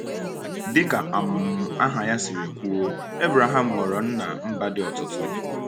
Dị ka um aha ya siri kwuo, Ebraham ghọrọ nna mba dị ọtụtụ.